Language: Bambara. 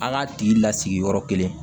An k'a tigi lasigi yɔrɔ kelen